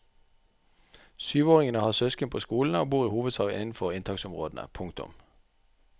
Syvåringene har søsken på skolene og bor i hovedsak innenfor inntaksområdene. punktum